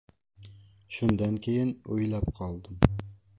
Shundan keyin o‘ylab qoldim.